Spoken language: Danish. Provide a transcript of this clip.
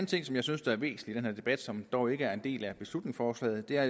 ting som jeg synes er væsentlig i debat som dog ikke er en del af beslutningsforslaget er